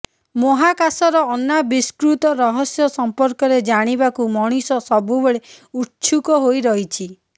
ମହାକାଶର ଅନାବିଷ୍କୃତ ରହସ୍ୟ ସମ୍ପର୍କରେ ଜାଣିବାକୁ ମଣିଷ ସବୁବେଳେ ଉତ୍ସୁକ ହୋଇ ରହିଛି